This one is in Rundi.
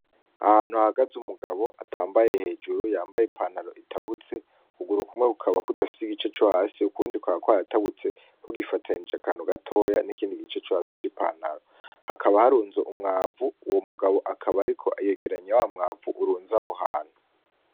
Ahantu hahagaze umugabo atambaye hejuru , yambaye ipantaro itabutse, ukuguru kumwe kukaba kudafise igice co hasi, ukundi kukaba kwaratabutse, kugifatanije akantu gatoya n'ikindi gice co hasi ci pantaro, hakaba harunze umwavu, uwo mugabo akaba ariko yegeranya wa mwavu urunze aho hantu.